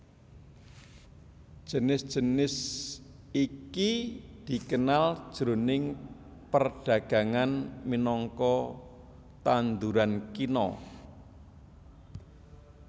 Jinis jinis iki dikenal jroning perdagangan minangka tanduran kina